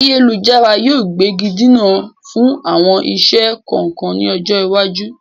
Ayélujára yìí ó gbégidinà fún àwọn iṣẹ́ kọ̀ọ̀kan ni ọjọ́ iwájú.